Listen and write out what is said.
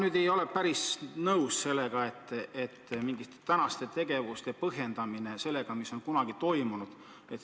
Ma ei ole päris nõus sellega, et te tänaseid tegevusi põhjendate sellega, mis on kunagi toimunud.